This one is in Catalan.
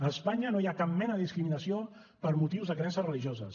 a espanya no hi ha cap mena de discriminació per motius de creences religioses